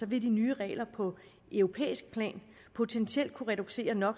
vil de nye regler på europæisk plan potentielt kunne reducere no